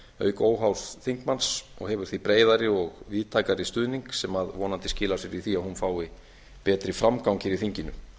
auk óháðs þingmanns og hefur því breiðari og víðtækari stuðning sem vonandi skilar sér í því að hún fái betri framgang hér í þinginu